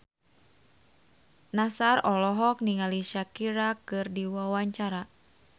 Nassar olohok ningali Shakira keur diwawancara